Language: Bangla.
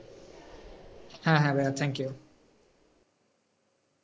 হ্যাঁ, হ্যাঁ ভাইয়া thank you